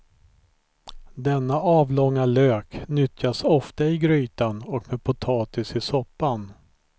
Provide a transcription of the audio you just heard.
Denna avlånga lök nyttjas ofta i grytan och med potatis i soppan.